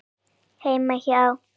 Heima hjá